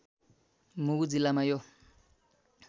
मुगु जिल्लामा यो